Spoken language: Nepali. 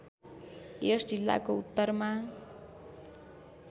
यस जिल्लाको उत्तरमा